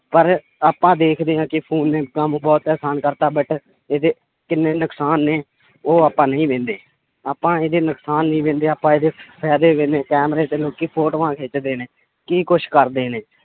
ਪਰ ਆਪਾਂ ਦੇਖਦੇ ਹਾਂ ਕਿ phone ਨੇ ਕੰਮ ਬਹੁਤ ਆਸਾਨ ਕਰ ਦਿੱਤਾ but ਇਹਦੇ ਕਿੰਨੇ ਨੁਕਸਾਨ ਨੇ ਉਹ ਆਪਾਂ ਨਹੀਂ ਆਪਾਂ ਇਹਦੇ ਨੁਕਸਾਨ ਨੀ ਆਪਾਂ ਇਹਦੇ ਫ਼ਾਇਦੇ ਕੈਮਰੇ ਤੇ ਲੋਕੀ ਫੋਟੋਆਂ ਖਿੱਚਦੇ ਨੇ, ਕੀ ਕੁਛ ਕਰਦੇ ਨੇ।